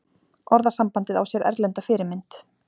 Orðasambandið á sér erlenda fyrirmynd.